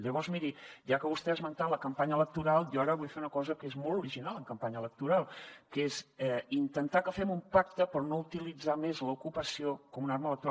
llavors miri ja que vostè ha esmentat la campanya electoral jo ara vull fer una cosa que és molt original en campanya electoral que és intentar que fem un pacte per no utilitzar més l’ocupació com una arma electoral